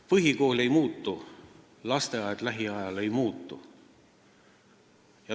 Põhikool ei muutu, lasteaed ka lähiajal ei muutu.